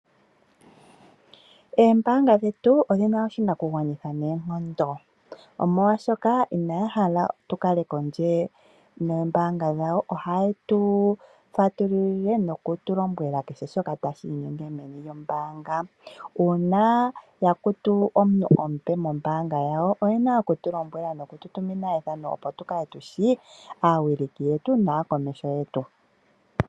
Oombaanga dhetu odhina oshinakugwanitha noonkondo, omolwashoka inaya hala tu kale kondje noombanga dhawo. Ohaye tu fatululile noku tu lombwela kehe shoka tashi inyenge meni lyombaanga, uuna ya kutu omuntu omupe mombaanga yawo oyena oku tu lombwela noku tu tumina ethano, opo tu kale tushi aawiliki yetu naa komeho yetu.